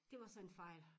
Det var så en fejl